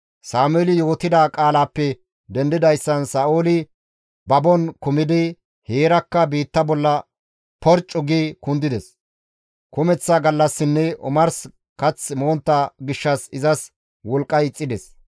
Sameeli yootida qaalaappe dendidayssan Sa7ooli babon kumidi heerakka biitta bolla porccu gi kundides. Kumeththa gallassinne omars kath montta gishshas izas wolqqay ixxides.